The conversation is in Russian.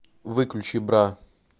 выключи бра